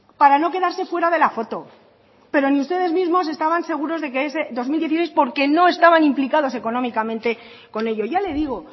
para no quedarse fuera de la foto pero ni ustedes mismos estaban seguros de que ese dos mil dieciséis porque no estaban implicados económicamente con ello ya le digo